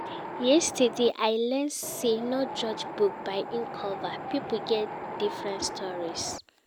Yesterday, I learn sey no judge book by im cover, pipo get different stories.